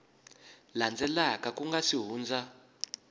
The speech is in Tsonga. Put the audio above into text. landzelaka ku nga si hundza